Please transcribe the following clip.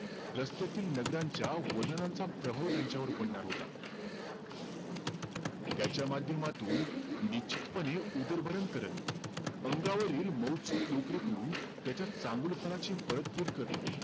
रस्त्यातील नगरांच्या वनरांचा प्रभाव त्यांच्यावर पडणार होता. त्याच्या माध्यमातून, निश्चितपणे उदरभरण करत, अंगावरील मऊसूत लोकरीतून, त्याच्या चांगुलपणाची परतफेड करणं.